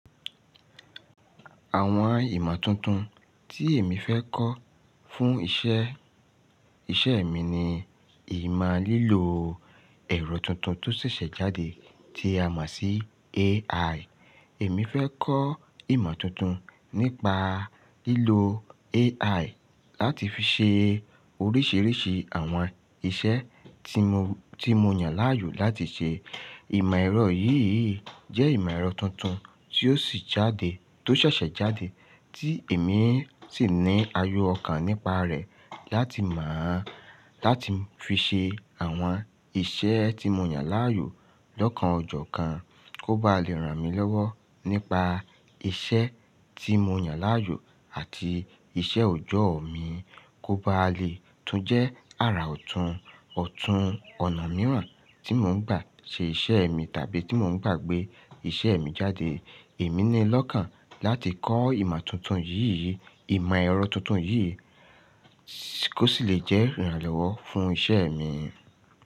Àwọn ìmọ̀ tuntun tí èmi fẹ́ kọ́ fún iṣẹ́, iṣẹ́ mi ni ìmọ̀ lílo ẹ̀rọ tuntun tó ṣẹ̀ṣẹ̀ jáde tí a mọ̀ sí AI. Èmi fẹ́ kọ́ ìmọ̀ tuntun nípa lílo AI láti fi ṣe oríṣiríṣi àwọn iṣẹ́ tí mo, tí mo yàn láàyò láti ṣe. Ìmọ̀ ẹ̀rọ yìí jẹ́ ìmọ̀ ẹ̀rọ tuntun tó sì jáde, tó ṣẹ̀ṣẹ̀ jáde tí èmi sì ní ayọ̀ ọkàn nípa rẹ̀ láti mọọ, láti fi ṣe àwọn iṣẹ́ tí mo yàn láàyò lọ́kàn ọjọ́ kan kó bá lè ràn mí lọ́wọ́ nípa iṣẹ́ tí mo yàn láàyò àti iṣẹ́ ọjọ́ mi kó bá lè tún jẹ́ ara òtún, òtún ọ̀nà mìíràn tí mò ń gbà ṣe iṣẹ́ mi tàbí tí mò ń gbà gbé iṣẹ́ mi jáde. Èmi ní lọ́kàn láti kọ́ ìmọ̀ tuntun yìí, ìmọ̀ ẹ̀rọ tuntun yìí kó ṣì lè jẹ́ ìrànlọ́wọ́ fún iṣẹ́ mi.